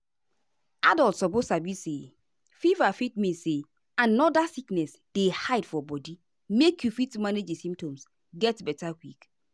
adults suppose sabi say fever fit mean say another sickness dey hide for body make you fit manage di symptoms get beta quick.